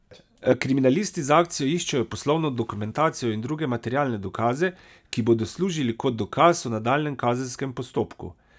Kriminalisti z akcijo iščejo poslovno dokumentacijo in druge materialne dokaze, ki bodo služili kot dokaz v nadaljnjem kazenskem postopku.